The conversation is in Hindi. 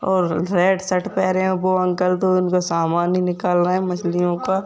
और रेड शर्ट पेहरे है वो अंकल तो उनको समान ही निकाल रहे है मछिलयों का --